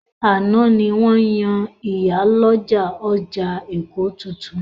Àná ni wọ́n yan ìyálọ́jà ọjà Èkó titun.